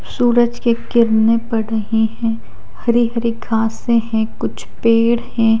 सूरज की किरणें पड़ रहे है हरी हरी घासे है कुछ पेड़ है।